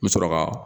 N bɛ sɔrɔ ka